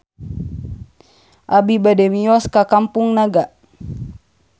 Abi bade mios ka Kampung Naga